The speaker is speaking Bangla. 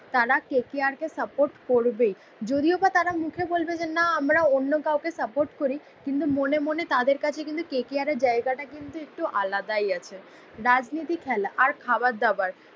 তারা কে কে আর কে সাপোর্ট করবেই, যদিও বা তারা মুখে বলবে যে না আমরা অন্য কাউকে সাপোর্ট করি কিন্তু মনে মনে তাদের কাছে কিন্তু কে কে আর এর জায়গাটা কিন্তু একটু আলাদাই আছে। রাজনীতি, খেলা আর খাবার দাবার